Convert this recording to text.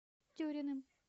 тюриным